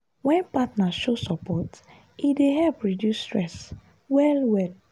wen partner show support e dey help reduce stress well-well.